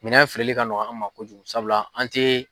Minɛn feereli ka nɔgɔ an ma kojugu sabula an tɛ